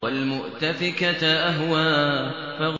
وَالْمُؤْتَفِكَةَ أَهْوَىٰ